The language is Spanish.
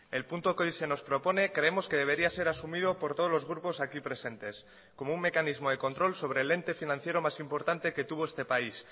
el punto que hoy se nos propone creemos que debería ser asumido por todos los grupos aquí presentes como un mecanismo de control sobre el ente financiero más importante que tuvo este país